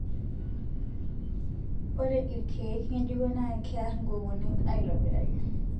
ore irkeek ngejuko na keer inkukunik aitobiraki